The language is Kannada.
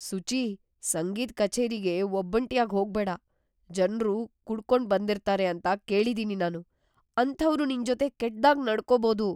ಸುಚೀ, ಸಂಗೀತ್ ಕಚೇರಿಗೆ ಒಬ್ಬಂಟಿಯಾಗ್ ಹೋಗ್ಬೇಡ. ಜನ್ರು ಕುಡ್ಕೊಂಡು ಬಂದಿರ್ತಾರೆ ಅಂತ ಕೇಳಿದೀನಿ ನಾನು.. ಅಂಥವ್ರು ನಿಂಜೊತೆ ಕೆಟ್ದಾಗ್‌ ನಡ್ಕೋಬಹುದು.